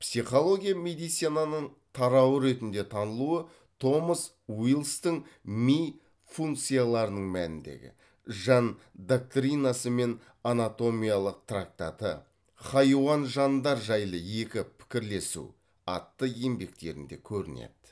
психология медицинаның тарауы ретінде танылуы томас уиллистің ми функцияларының мәніндегі жан доктринасы мен анатомиялық трактаты хайуан жандар жайлы екі пікірлесу атты еңбектерінде көрінеді